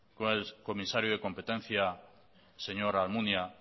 con el comisario de competencia señor almunia